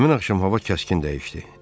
Həmin axşam hava kəskin dəyişdi.